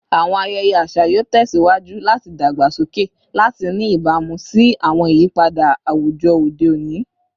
Awọn ayẹyẹ aṣa yoo tẹsiwaju lati dagbasoke lati ni ibamu si awọn iyipada awujọ ode oni